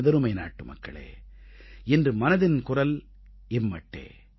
எனதருமை நாட்டுமக்களே இன்று மனதின் குரல் இம்மட்டே